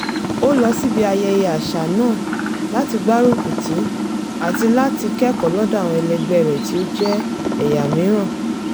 ó lọ síbi ayẹyẹ àṣà náà láti gbárùkùtì àti láti kẹ́kọ̀ọ́ lọ́dọ̀ àwọn ẹlẹgbẹ́ rẹ̀ tí ó jẹ́ ẹ̀yà míìràn